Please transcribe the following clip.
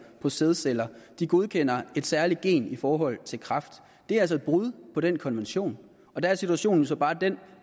på sædceller de godkender et særligt gen i forhold til kræft det er altså et brud på den konvention og der er situationen jo så bare den